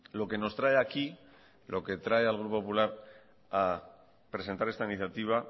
lo que nos trae aquí lo que trae al grupo popular a presentar esta iniciativa